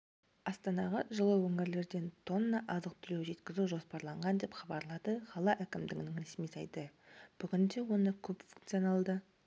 астанаға жылы өңірлерден тонна азық-түлік жеткізу жоспарланған деп хабарлады қала әкімдігінің ресми сайты бүгінде оны көпфункционалды